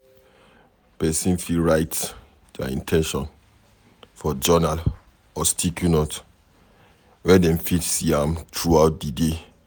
Person fit write their in ten tions for journal or sticky note, where dem fit see am throughout di day